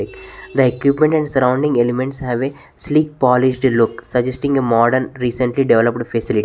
The equipment and surrounding elements have a sleek polished look suggesting a modern recently developed faci --